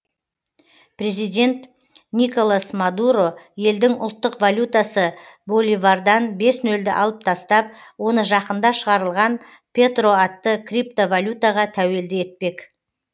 президент николас мадуро елдің ұлттық валютасы боливардан бес нөлді алып тастап оны жақында шығарылған петро атты криптовалютаға тәуелді етпек